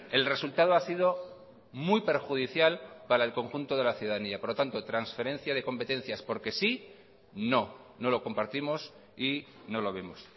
el resultado ha sido muy perjudicial para el conjunto de la ciudadanía por lo tanto transferencia de competencias porque sí no no lo compartimos y no lo vemos